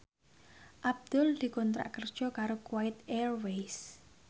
Abdul dikontrak kerja karo Kuwait Airways